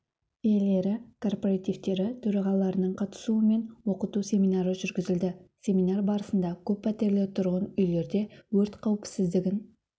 иелері кооперативтері төрағаларының қатысуымен оқыту семинары жүргізілді семинар барысында көп пәтерлі тұрғын үйлерде өрт қауіпсіздігін